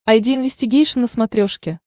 айди инвестигейшн на смотрешке